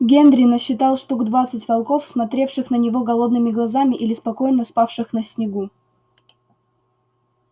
генри насчитал штук двадцать волков смотревших на него голодными глазами или спокойно спавших на снегу